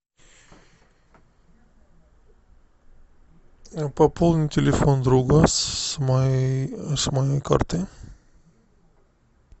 пополни телефон друга с моей с моей карты